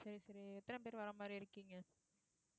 சரி சரி எத்தன பேர் வர மாரி இருக்கீங்க